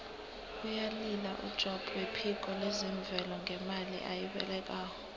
uyalila ujobb wephiko lezemvelo ngemali ebayilobako